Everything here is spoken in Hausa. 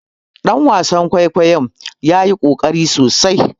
Dan wasan kwaikwayon ya yi kokari sosai